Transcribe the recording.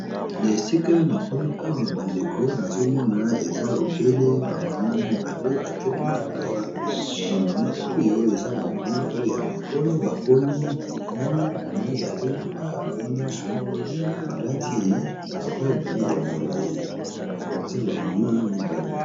Foto oyo kitoko na miso, ba mama mibale batelemi nakati ya lopango bazo seka, moko alati boubou, musu alati robe ya mulayi bango mibali balati langi ya mozinga.